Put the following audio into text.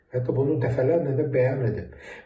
Hətta bunu dəfələrlə də bəyan edib.